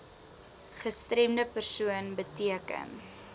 gestremde persoon beteken